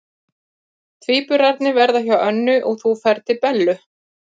Tvíburarnir verða hjá Önnu og þú ferð til Bellu.